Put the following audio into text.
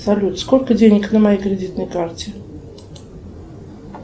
салют сколько денег на моей кредитной карте